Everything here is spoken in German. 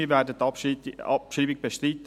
Wir werden die Abschreibung bestreiten.